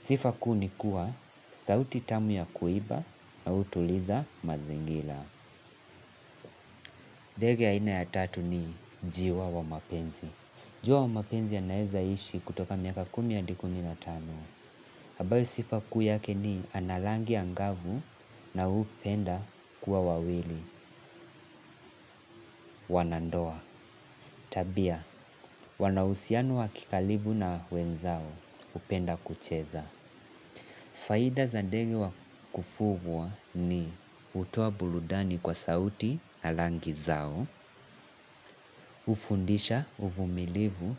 Sifa kuu ni kuwa, sauti tamu ya kuimba na utuliza mazingila. Dege aina ya tatu ni njiwa wa mapenzi. Jiwa wa mapenzi anaezaishi kutoka miaka kumi hadi kumi na tano. Abayo sifa kuu yake ni ana langi angavu na hupenda kuwa wawili wanandoa. Tabia, wanauhusiano wa kikalibu na wenzao hupenda kucheza. Faida za ndege wa kufugwa ni hutoa buludani kwa sauti na langi zao, ufundisha, uvumilivu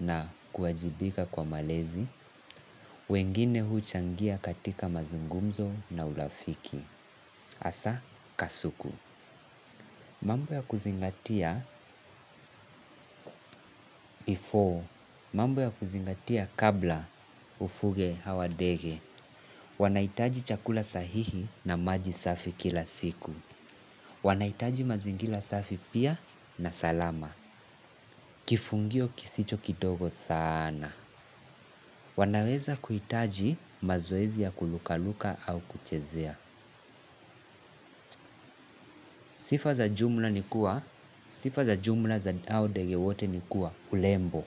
na kuajibika kwa malezi, wengine huchangia katika mazungumzo na ulafiki. Asa kasuku. Mambo ya kuzingatia before. Mambo ya kuzingatia kabla ufuge hawa dege. Wanaitaji chakula sahihi na maji safi kila siku. Wanaitaji mazingila safi pia na salama. Kifungio kisicho kidogo sana. Wanaweza kuhitaji mazoezi ya kulukaluka au kuchezea. Sifa za jumla ni kuwa. Sifa za jumla za hao dege wote ni kuwa ulembo.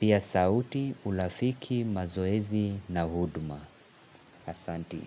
Pia sauti ulafiki mazoezi na huduma. Asanti.